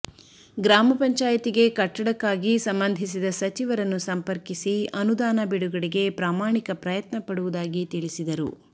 ಗ್ರಾಮ ಪಂಚಾಯತಿಗೆ ಕಟ್ಟಡಕ್ಕಾಗಿ ಸಂಬಂಧಿಸಿದ ಸಚಿವರನ್ನು ಸಂಪರ್ಕಿಸಿ ಅನುದಾನ ಬಿಡುಗಡೆಗೆ ಪ್ರಾಮಾಣಿಕ ಪ್ರಯತ್ನ ಪಡುವುದಾಗಿ ತಿಳಿಸಿದರು